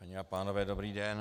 Dámy a pánové, dobrý den.